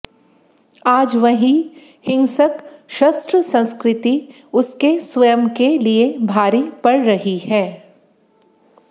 आज वही हिंसक शस्त्र संस्कृति उसके स्वयं के लिये भारी पड़ रही है